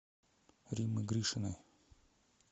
риммы гришиной